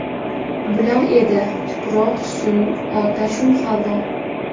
Bular edi: tuproq, suv, otashu havo.